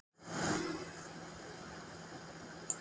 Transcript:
Hjördís Rut Sigurjónsdóttir: Númer hvað er umsóknin þín?